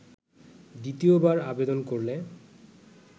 দ্বিতীয়বার আবেদন করলে